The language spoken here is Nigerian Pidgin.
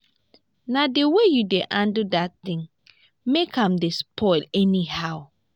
na the way you dey handle dat thing make am dey spoil anyhow